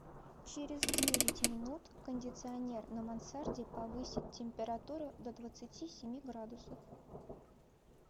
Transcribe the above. через девять минут кондиционер на мансарде повысить температуру до двадцати семи градусов